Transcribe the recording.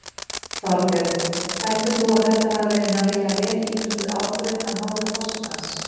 Þorbjörn: Heldur þú að þetta hafi verið nægilega vel ígrunduð ákvörðun af hálfu forsetans?